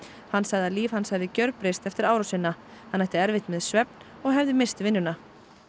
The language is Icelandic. hann sagði að líf hans hefði gjörbreyst eftir árásina hann ætti erfitt með svefn og hefði misst vinnuna